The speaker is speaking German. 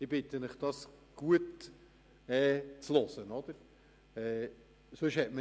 Ich bitte Sie, hier gut zuzuhören.